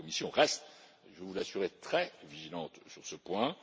la Commission reste, je vous l'assurais, très vigilante sur ce point.